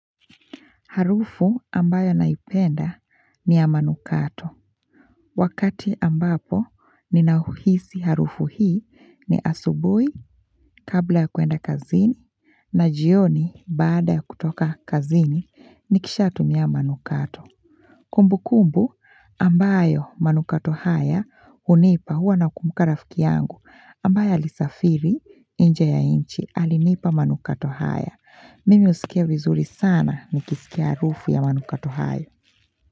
Harufu ambayo naipenda ni ya manukato. Wakati ambapo ninahuhisi harufu hii ni asubuhi kabla ya kuenda kazini na jioni baada ya kutoka kazini nikishatumia manukato. Kumbukumbu ambayo manukato haya hunipa huwa nakumbuka rafiki yangu ambaye alisafiri nje ya nchi alinipa manukato haya. Mimi husikia vizuri sana nikisikia harufu ya manukato hayo.